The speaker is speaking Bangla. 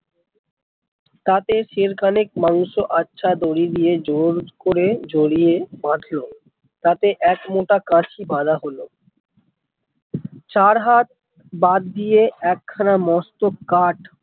তাতে শেরখানেক মাংস আচ্ছা দড়ি দিয়ে জোর করে জড়িয়ে বাঁধলো তাতে এক মোটা কাছি বাঁধা হলো চারহাত বাদ্ দিয়ে এক খানা মস্ত কাঠ